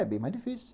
É bem mais difícil.